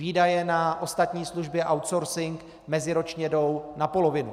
Výdaje na ostatní služby, outsourcing meziročně jdou na polovinu.